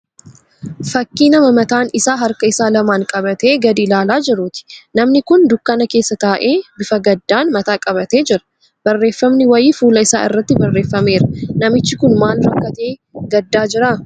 Fakkii nama mataa isaa harka isaa lamaan qabatee gadi ilaalaa jiruuti. Namni kun dukkana keessa taa'ee bifa gaddaan mataa qabatee jira. Barreeffamni wayii fuula isaa irratti barreefameera. Namichi kun maal rakkatee gaddaa jira?